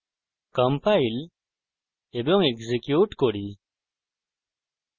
compile এবং execute করি